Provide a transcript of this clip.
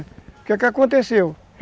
O que é que aconteceu?